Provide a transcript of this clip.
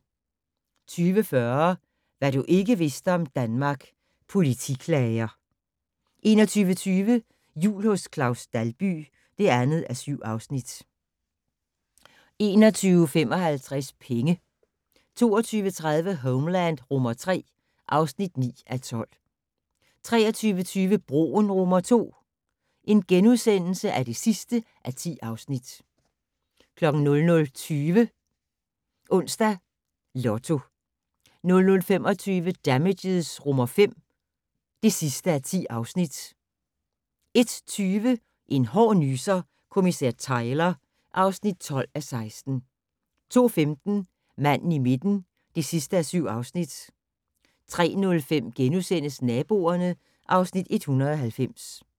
20:40: Hvad du ikke vidste om Danmark - Politiklager 21:20: Jul hos Claus Dalby (2:7) 21:55: Penge 22:30: Homeland III (9:12) 23:20: Broen II (10:10)* 00:20: Onsdags Lotto 00:25: Damages V (10:10) 01:20: En hård nyser: Kommissær Tyler (12:16) 02:15: Manden i midten (7:7) 03:05: Naboerne (Afs. 190)*